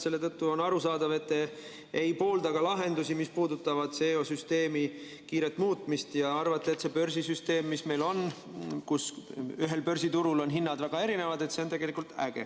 Selle tõttu on arusaadav, et te ei poolda ka lahendusi, mis puudutavad CO‑süsteemi kiiret muutmist, ja arvate, et see börsisüsteem, mis meil on, kus ühel börsiturul on hinnad väga erinevad, on tegelikult äge.